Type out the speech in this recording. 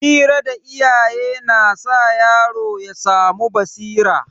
Hira da iyaye na sa yaro ya samu basira.